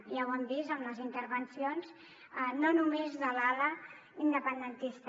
ja ho han vist amb les intervencions no només de l’ala independentista